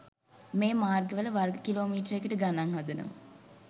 මේ මාර්ගවල වර්ග කිලෝමීටරයකට ගණන් හදනවා